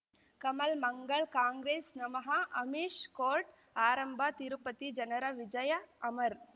ಕಮಲ್ ಮಂಗಳ್ ಕಾಂಗ್ರೆಸ್ ನಮಃ ಅಮಿಷ್ ಕೋರ್ಟ್ ಆರಂಭ ತಿರುಪತಿ ಜನರ ವಿಜಯ ಅಮರ್